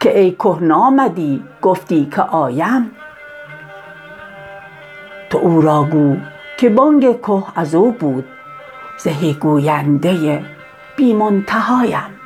که ای که نامدی گفتی که آیم تو او را گو که بانگ که از او بود زهی گوینده بی منتهایم